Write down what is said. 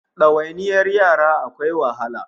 Dawainiyar yara akwai wahala